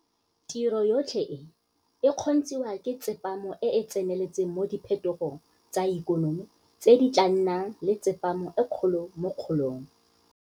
Tiro yotlhe e, e kgontshiwa ke tsepamo e e tseneletseng mo diphetogong tsa ikonomi tse di tla nnang le tsepamo e kgolo mo kgolong.